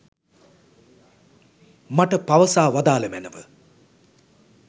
මට පවසා වදාළ මැනව.